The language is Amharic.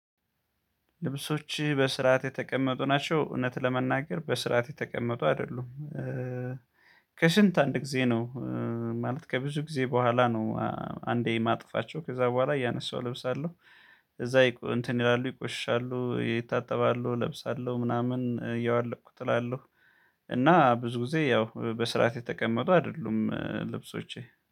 ልብሶችህ በስርዓት የተቀመጡ ናቸው እውነት ለመናገር በስርዓት የተቀመጡ አይደሉም። ከሽንት አንድ ጊዜ ነው። ማለት ከብዙ ጊዜ በኋላ ነው። አንዴ የማጥፋቸው ከዛ በኋላ ያነሳው እለብሳለሁ። እዛ እንትን ይላሉ ይቆሻሉ ይታጠባሉ እለብሳለሁ ምናምን እያዋለኩ እጥላለሁ። እና ብዙ ጊዜ ያው በስርዓት የተቀመጡ አይደሉም ልብሶቼ